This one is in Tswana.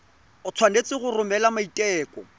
o tshwanetse go romela maiteko